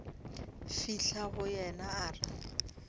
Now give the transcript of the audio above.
fihla go yena a re